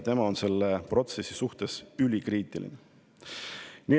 Tema on selle protsessi suhtes ülikriitiline.